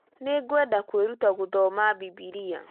Nĩ ngwenda kwĩruta gũthoma Bibilia